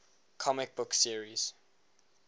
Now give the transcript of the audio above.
comic book series